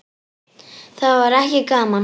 Það var ekki gaman.